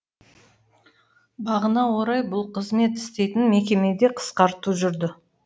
бағына орай бұл қызмет істейтін мекемеде қысқарту жүрді